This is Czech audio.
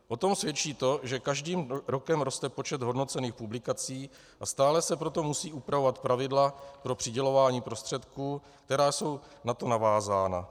O tom svědčí to, že každým rokem roste počet hodnocených publikací, a stále se proto musí upravovat pravidla pro přidělování prostředků, která jsou na to navázána.